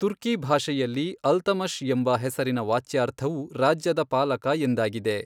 ತುರ್ಕಿ ಭಾಷೆಯಲ್ಲಿ ಅಲ್ತಮಷ್ ಎಂಬ ಹೆಸರಿನ ವಾಚ್ಯಾರ್ಥವು ರಾಜ್ಯದ ಪಾಲಕ ಎಂದಾಗಿದೆ.